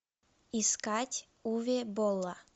искать уве болла